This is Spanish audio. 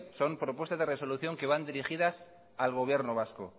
son propuestas de resolución que van dirigidas al gobierno vasco